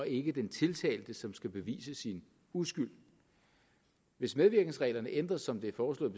ikke den tiltalte som skal bevise sin uskyld hvis medvirkensreglerne ændres som det er foreslået